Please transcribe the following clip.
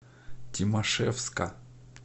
тимашевска